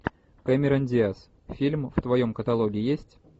кэмерон диаз фильм в твоем каталоге есть